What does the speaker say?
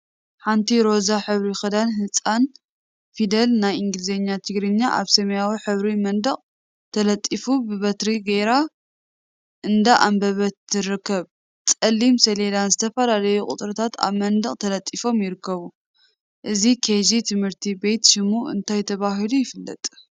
ሓንቲ ሮዛ ሕብሪ ክዳን ህፃን ፊደል ናይ እንግሊዝኛን ትግርኛን አብ ሰማያዊ ሕብሪ መንደቅ ተለጢፎም ብበትሪ ገይራ እንዳ አንበበት ትርከብ፡፡ ፀሊም ሰሌዳን ዝተፈላለዩ ቁፅሪታትን አብ መንደቅ ተለጢፎም ይርከብ፡፡ እዚ ኬጅ ትምህርቲ ቤት ሽሙ እንታይ ተባሂሉ ይፍለጥ?